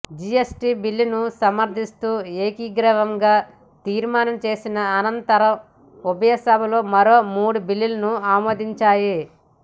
GST బిల్లును సమర్థిస్తూ ఏకగ్రీవం గా తీర్మానం చేసిన అనంతరం ఉభయ సభలు మరో మూడు బిల్లులను ఆమోదించాయి